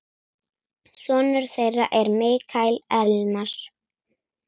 Sonur þeirra er Mikael Elmar.